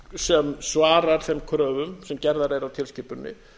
sem svarar þeim kröfum sem gerðar eru á tilskipuninni